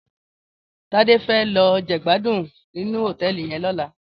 Tade fè lò jègbádún ninú hótèlí yèn lòlá